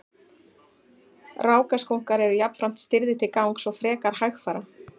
rákaskunkar eru jafnframt stirðir til gangs og frekar hægfara